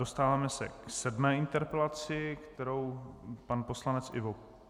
Dostáváme se k sedmé interpelaci, kterou pan poslanec Ivo